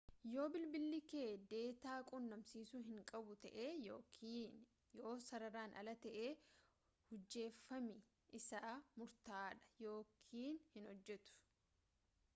yoo bilbili kee deetaa qunnamsiisu hin qabu tahe yookin yoo sararaan ala ta'e hujjeeffami isaa murtaa'aadha yookin hin hojjetu